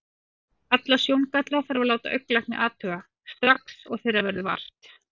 Alla sjóngalla þarf að láta augnlækni athuga, strax og þeirra verður vart.